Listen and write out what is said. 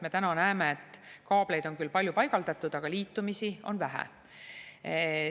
Me täna näeme, et kaableid on küll palju paigaldatud, aga liitumisi on vähe.